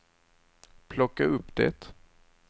plocka upp det